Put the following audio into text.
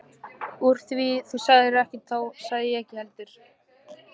Úr því þú sagðir ekkert þá sagði ég ekkert heldur.